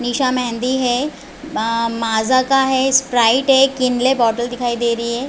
निशा मेहँदी है आ माजा का है स्प्राइड है किनले बॉटल दिखाई दे रही है।